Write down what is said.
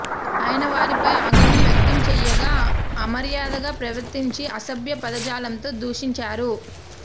ఆయన వారిపై ఆగ్రహం వ్యక్తం చేయగా అమర్యాదగా ప్రవర్తించి అసభ్య పదజాలంతో దూషించారు